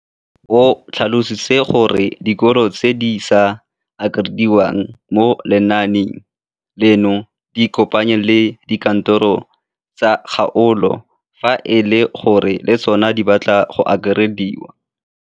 O tlhalositse gore dikolo tse di sa akarediwang mo lenaaneng leno di ikopanye le dikantoro tsa kgaolo fa e le gore le tsona di batla go akarediwa.